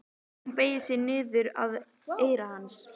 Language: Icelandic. Hún beygir sig niður að eyra hans.